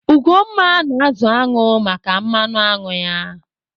Ugomma na-azụ añụ maka mmanụ añụ ya.